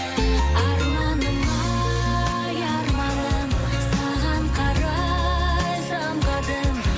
арманым ай арманым саған қарай самғадым